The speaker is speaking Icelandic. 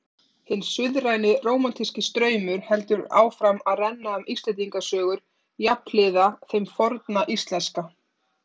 Hinn suðræni rómantíski straumur heldur áfram að renna um Íslendingasögur jafnhliða þeim forna íslenska.